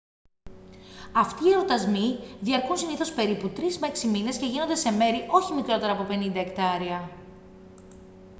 αυτοί οι εορτασμοί διαρκούν συνήθως περίπου τρεις με έξι μήνες και γίνονται σε μέρη όχι μικρότερα από 50 εκτάρια